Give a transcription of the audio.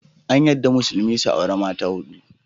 An yarda Musulmi su auri mata huɗu